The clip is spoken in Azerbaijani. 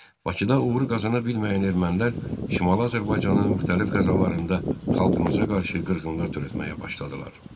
Bakıda uğuru qazana bilməyən ermənilər Şimali Azərbaycanın müxtəlif qəzalarında xalqımıza qarşı qırğınlar törətməyə başladılar.